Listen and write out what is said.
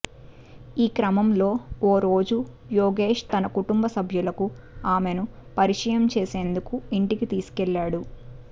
ఈ క్రమంలో ఓరోజు యోగేష్ తన కుటుం సభ్యులకు ఆమెను పరిచయం చేసేందుకు ఇంటికి తీసుకెళ్లాడు